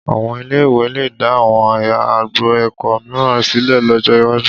Àwọn ilé-ìwé lè dá àwọn agbo ẹ̀kọ́ mìíràn sílẹ̀ lọ́jọ́ iwájú